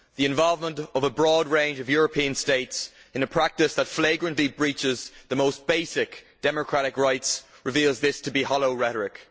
The involvement of a broad range of European states in a practice that flagrantly breaches the most basic democratic rights reveals this to be hollow rhetoric.